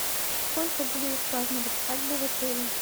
сколько будет отпраздновать свадьбу в отеле